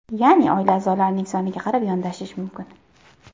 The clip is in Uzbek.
Ya’ni oila a’zolarining soniga qarab yondashish mumkin.